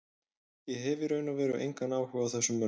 Ég hef í raun og veru engan áhuga á þessum mönnum.